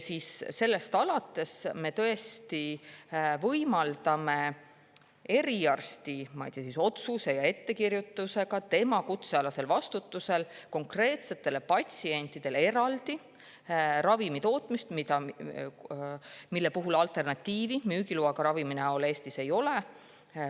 Sellest alates me tõesti võimaldame eriarsti otsuse ja ettekirjutuse alusel, tema kutsealasel vastutusel, konkreetsetele patsientidele eraldi ravimi tootmist, millele müügiloaga ravimi näol alternatiivi Eestis ei ole.